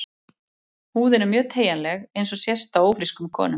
Húðin er mjög teygjanleg eins og sést á ófrískum konum.